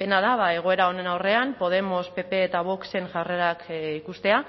pena da egoera honen aurrean podemos pp eta voxen jarrerak ikustea